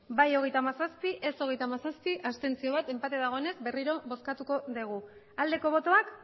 bai hogeita hamazazpi ez hogeita hamazazpi abstentzioak bat enpate bat dagoenez berriro bozkatuko dugu aldeko botoak